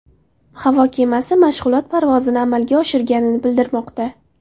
Havo kemasi mashg‘ulot parvozini amalga oshirgani bildirilmoqda.